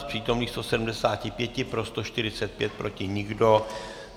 Z přítomných 175 pro 145, proti nikdo.